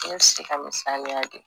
N ye se ka misaliya di